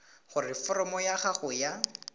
gore foromo ya gago ya